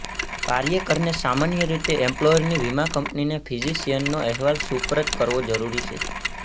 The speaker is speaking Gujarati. કાર્યકરને સામાન્ય રીતે એમ્પ્લોયરની વીમા કંપનીને ફિઝિશિયનનો અહેવાલ સુપરત કરવો જરૂરી છે